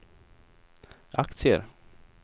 aktier